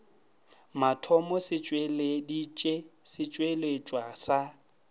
mathomo se tšweleditše setšweletšwa sa